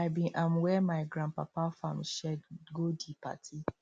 i bin um wear my grandpapa farm shirt go di party